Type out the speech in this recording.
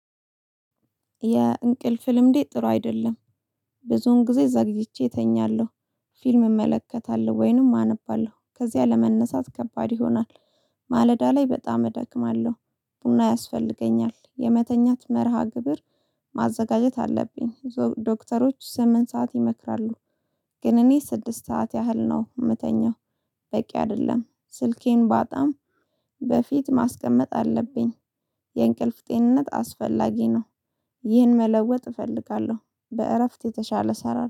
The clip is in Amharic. የእንቅልፍ ልምዴ ጥሩ አይደለም። ብዙውን ጊዜ ዘግይቼ እተኛለሁ። ፊልም እመለከታለሁ ወይንም አነባለሁ ከዚያ ለመነሳት ከባድ ይሆናል። ማለዳ ላይ በጣም እደክማለሁ። ቡና ያስፈልገኛል የመተኛት መርሃ ግብር። ማዘጋጀት አለብኝ ዶክተሮች ስምንት ሰዓት ይመክራሉ። ግን እኔ ስድስት ሰዓት ያህል ነው የምተኛው። በቂ አይደለም ስልኬን በጣም በፊት ማስቀመጥ አለብኝ። የእንቅልፍ ጤንነት አስፈላጊ ነው። ይህን መለወጥ እፈልጋለሁ በእረፍት የተሻለ እሰራለሁ